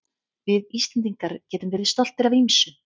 Við Íslendingar getum verið stoltir af ýmsu.